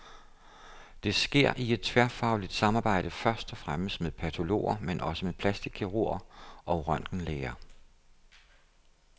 Det sker i et tværfagligt samarbejde, først og fremmest med patologer, men også med plastikkirurger og røntgenlæger.